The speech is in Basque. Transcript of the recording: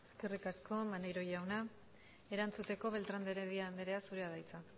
eskerrik asko maneiro jauna erantzuteko beltrán de heredia andrea zurea da hitza